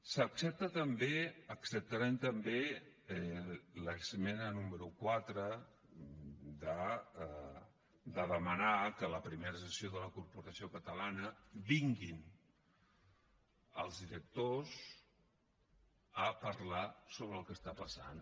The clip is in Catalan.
s’accepta també acceptarem també l’esmena número quatre de demanar que a la primera sessió de la corporació catalana vinguin els directors a parlar sobre el que està passant